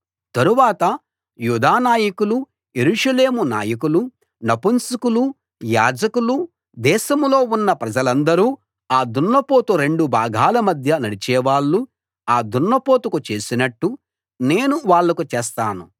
తరువాత యూదా నాయకులు యెరూషలేము నాయకులు నపుంసకులు యాజకులు దేశంలో ఉన్న ప్రజలందరూ ఆ దున్నపోతు రెండు భాగాల మధ్య నడిచేవాళ్ళు ఆ దున్నపోతుకు చేసినట్టు నేను వాళ్ళకు చేస్తాను